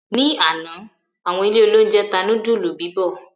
Ni àná, àwọn ilé-oúnjẹ tá núdúlù bíbọ̀.